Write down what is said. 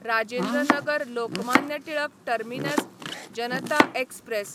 Rajendra Nagar Lokmanya Tilak terminus Janata express